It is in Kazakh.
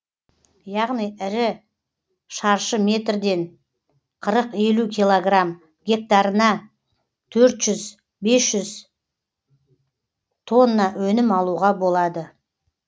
яғни ір шаршы метрден қырық елу килограмм гектарына төрт жүз бес тонна өнім алуға болады